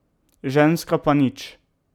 Ženska pa nič.